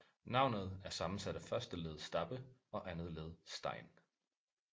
Navnet er sammensat af første led stabbe og andet led stein